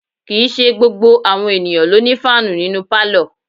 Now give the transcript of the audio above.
Kì í ṣe gbogbo àwọn ènìyàn ló ní fáànù nínú pálọ̀